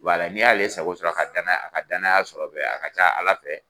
Wala n'i y'ale sago sɔrɔ ka danaya a ka danaya sɔrɔ bɛ a ka ca Ala fɛ